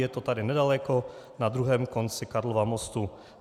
Je to tady nedaleko na druhém konci Karlova mostu.